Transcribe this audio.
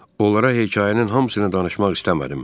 Onlara hekayənin hamısını danışmaq istəmədim.